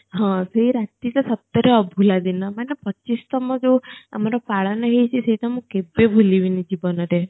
ହଁ ସେ ରାତି ଟା ସତ ରେ ଅଭୁଲା ଦିନ ମାନେ ପଚିଶତମ ଯୋ ଆମର ପାଳନ ହେଇଛି ସେ ତ ମୁଁ କେବେ ଭୁଲିବିନି ଜୀବନ ରେ